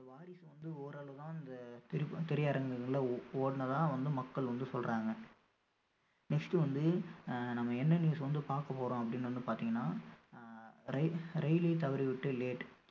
இந்த வாரிசு வந்து ஓரளவு தான் இந்த திரை~ திரையரங்குகள்ல ஓ~ ஓடுனதா வந்து மக்கள் வந்து சொல்றாங்க next வந்து ஆஹ் நம்ம என்ன news வந்து பார்க்க போறோம் அப்படீன்னு வந்து பார்த்தீங்கன்னா அஹ் ரயில~ரயிலை தவறிவிட்டு late